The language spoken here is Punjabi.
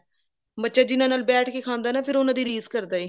ਬੱਚਾ ਜਿੰਨਾ ਨਾਲ ਬੈਠ ਕੇ ਖਾਂਦਾ ਹੈ ਨਾ ਫੇਰ ਉਹਨਾਂ ਦੀ ਰੀਸ ਕਰਦਾ ਏ